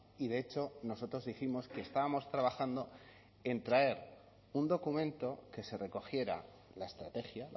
y de hecho nosotros dijimos que estábamos trabajando en traer un documento que se recogiera la estrategia